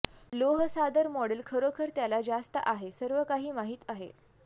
लोह सादर मॉडेल खरोखर त्याला जास्त आहे सर्वकाही माहीत आहे